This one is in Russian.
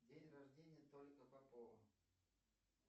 день рождения толика попова